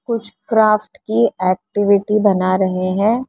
कुछ क्राफ्ट की एक्टिविटी बना रहे हैं।